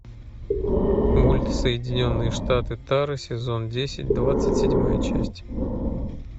мульт соединенные штаты тары сезон десять двадцать седьмая часть